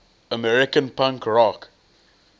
american punk rock